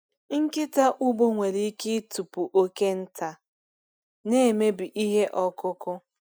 Nkịta ugbo nwere ike ịtụpụ oke nta na-emebi ihe ọkụkụ.